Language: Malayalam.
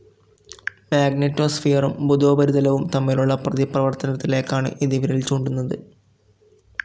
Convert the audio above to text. മാഗ്നെറ്റോസ്ഫിയറും ബുധോപരിതലവും തമ്മിലുള്ള പ്രതിപ്രവർത്തനത്തിലേക്കാണ്‌ ഇത് വിരൽചൂണ്ടുന്നത്